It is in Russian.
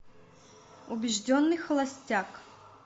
убежденный холостяк